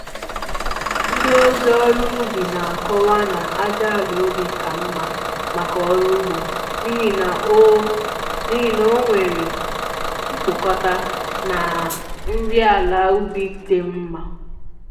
Ndị ozi ọrụ ugbo na akọwa na ájá àlà ubi ka mma maka ọrụ ugbo n'ihi na o n'ihi na o nwere mkpụkọta na nri àlà ubi dị mma